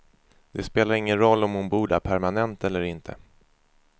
Det spelar ingen roll om hon bor där permanent eller inte.